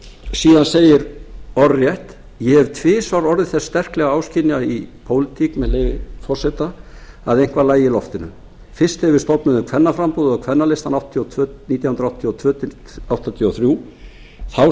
síðan segir orðrétt með leyfi forseta ég hef tvisvar orðið þess sterklega áskynja í pólitík að eitthvað lægi í loftinu fyrst þegar við stofnuðum kvennaframboðið og kvennalistann nítján hundruð áttatíu og tvö til nítján hundruð áttatíu og þrjú þá